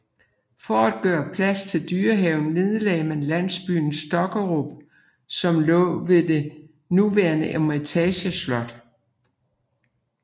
For at gøre plads til dyrehaven nedlagde man landsbyen Stokkerup som lå ved det nuværende Eremitageslot